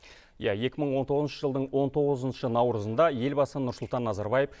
иә екі мың он тоғызыншы жылдың он тоғызыншы наурызында елбасы нұрсұлтан назарбаев